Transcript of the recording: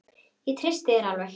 Ég treysti þér alveg!